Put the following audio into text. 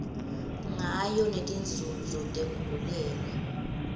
ngayo netinzunzo tekugulela